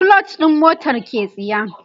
clutch ɗin motar ke tsiya